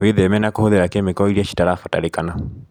Wĩtheme na kũhũthira kĩmiko iria citarabatarĩkana.